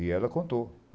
E ela contou.